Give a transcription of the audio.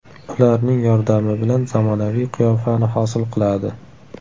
Ularning yordami bilan zamonaviy qiyofani hosil qiladi.